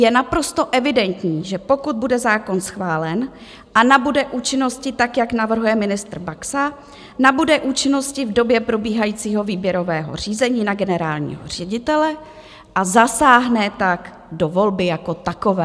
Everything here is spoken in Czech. Je naprosto evidentní, že pokud bude zákon schválen a nabude účinnosti tak, jak navrhuje ministr Baxa, nabude účinnosti v době probíhajícího výběrového řízení na generálního ředitele a zasáhne tak do volby jako takové.